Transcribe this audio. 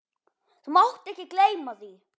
Þú mátt ekki gleyma því!